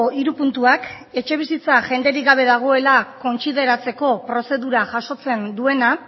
hiru puntuak etxebizitza jenderik gabe dagoela kontsideratzeko prozedura jasotzen duena